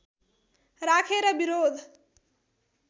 राखेर विरोध